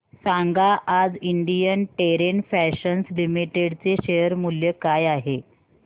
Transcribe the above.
सांगा आज Indian Terrain Fashions Limited चे शेअर मूल्य काय आहे